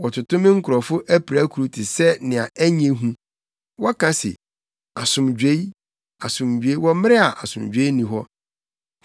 Wɔtoto me nkurɔfo apirakuru te sɛnea ɛnyɛ hu. Wɔka se, “Asomdwoe, asomdwoe” wɔ mmere a asomdwoe nni hɔ.